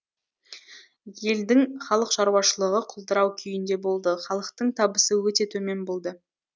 елдің халық шаруашылығы құлдырау күйінде болды халықтың табысы өте төмен болды